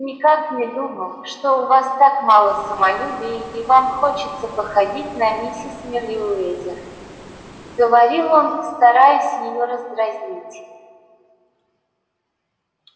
никак не думал что у вас так мало самолюбия и вам хочется походить на миссис мерриуэзер говорил он стараясь её раздразнить